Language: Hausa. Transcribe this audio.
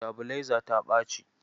Sitabilaizata ta ɓaci.